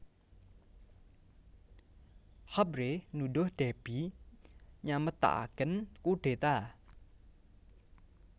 Habré nuduh Déby nyamektakaken kudeta